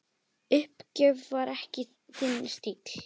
Uppgjöf var ekki þinn stíll.